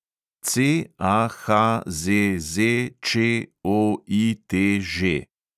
CAHZZČOITŽ